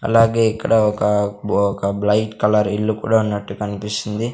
అలాగే ఇక్కడ ఒక బో ఒక బ్లైట్ కలర్ ఇల్లు కూడా ఉన్నట్టు కన్పిస్తుంది.